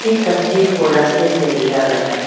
इस तस्वीर को रस्ते से लिया गया है।